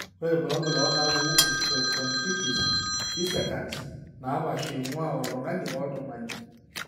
Ore irbulabul onaapuku osteochondritis dissecans nepaasha eing'ua oltung'ani oltung'ani.